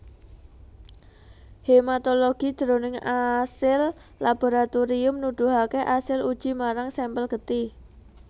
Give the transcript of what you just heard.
Hematologi jroning asil laboratorium nuduhaké asil uji marang sampel getih